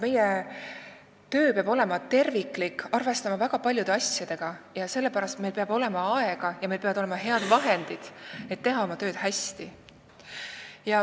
Meie töö on terviklik ja arvestada tuleb väga paljude asjadega, sellepärast on meil vaja aega ja häid vahendid, et teha seda tööd hästi.